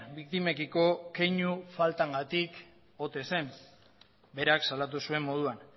biktimekiko keinu faltagatik ote zen berak salatu zuen moduan